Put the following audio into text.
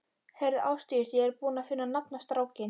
Heyrðu Ásdís, ég er búinn að finna nafn á strákinn.